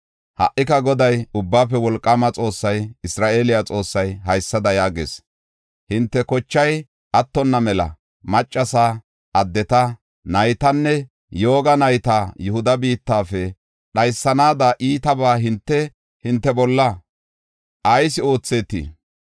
“Ha77ika Goday, Ubbaafe Wolqaama Xoossay, Isra7eele Xoossay, haysada yaagees; hinte kochay attonna mela, maccasa, addeta, naytanne yooga nayta Yihuda biittafe dhaysanaada iitabaa hinte, hinte bolla ayis oothetii?